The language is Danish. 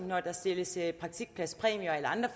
når der stilles praktikpladspræmier eller andre